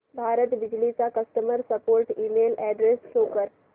भारत बिजली चा customer support email address show कर